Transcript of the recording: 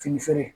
Fini feere